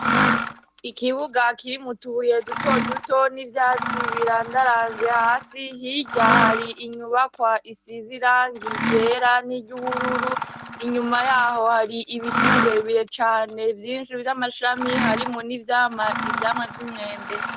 Ikibuga kirimwo utubuye dutoduto n'ibyatsi birandaranze hasi hirya hari inyubakwa isiz'irangi ryera n'iry'ubururu inyuma yaho hari ibiti birebire cane vyinshi vy'amashami harimwo n'ivyama ivyamwa vy'imyembe.